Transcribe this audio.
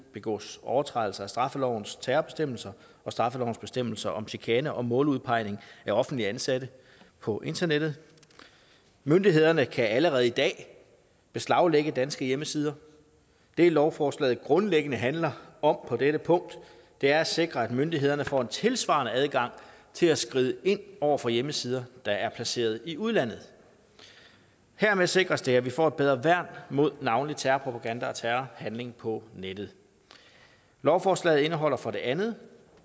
begås overtrædelser af straffelovens terrorbestemmelser og straffelovens bestemmelser om chikane og måludpegning af offentligt ansatte på internettet myndighederne kan allerede i dag beslaglægge danske hjemmesider det lovforslaget grundlæggende handler om på dette punkt er at sikre at myndighederne får en tilsvarende adgang til at skride ind over for hjemmesider der er placeret i udlandet hermed sikres det at vi får et bedre værn mod navnlig terrorpropaganda og terrorhandling på nettet lovforslaget indeholder for det andet